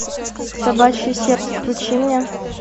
собачье сердце включи мне